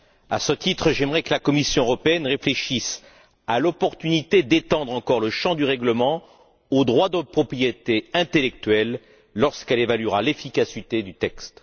À ce titre, j'aimerais que la Commission européenne réfléchisse à l'opportunité d'étendre encore le champ du règlement aux droits de propriété intellectuelle lorqu'elle évaluera l'efficacité du texte.